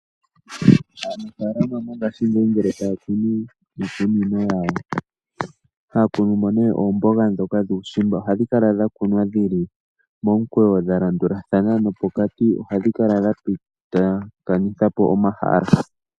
Aanafaalama mongashingeyi ngele taya kunu miikunino yawo ohaya kunumo oomboga dhoka dhuushimba, ohadhi kunwa dhili momikweyo dha landulathana nopokati ohadhi kala dha pitithapo omahala.